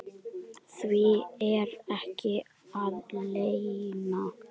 Því er ekki að leyna.